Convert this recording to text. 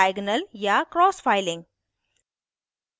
diagonal या cross filing